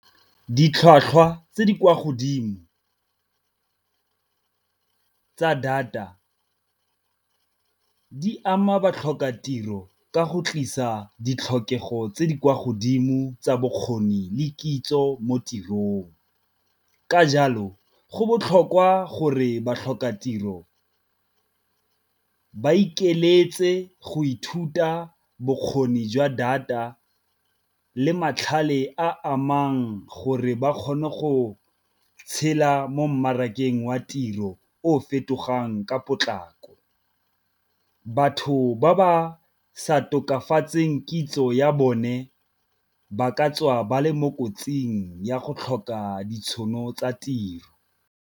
Ditlhwatlhwa tse di kwa godimo tsa data di ama batlhokatiro ka go tlisa ditlhokego tse di kwa godimo tsa bokgoni le kitso mo tirong. Ka jalo go botlhokwa gore ba tlhoka tiro ba ikeletse go ithuta bokgoni jwa data le matlhale a amang gore ba kgone go tshela mo mmarakeng wa tiro o fetogang ka potlako. Batho ba ba sa tokafatseng kitso ya bone ba ka tswa ba le mo kotsing ya go tlhoka ditšhono tsa tiro.